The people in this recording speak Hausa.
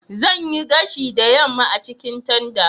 Zan yi gashi da yamma a cikin tanda.